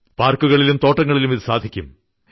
പാർക്കുകളിലും തോട്ടങ്ങളിലും ഇത് സാധിക്കും